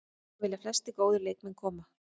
Hingað vilja flestir góðir leikmenn koma.